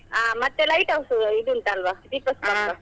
ಹಾ ಮತ್ತೆ lighthouse ಇದ್ ಉಂಟಾಲ್ವಾ .